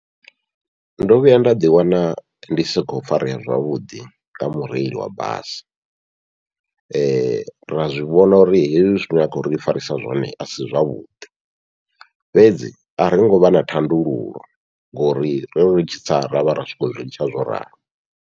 Ndo vhuya nda ḓi wana ndi sa kho farea zwavhuḓi nga mureili wa basi, ra zwivhona uri hezwi zwine a khou ri farisa zwone asi zwavhuḓi, fhedzi ari ngovha na thandululo ngori rori ri tshi tsa ravha ri khou zwi litsha zwo ralo.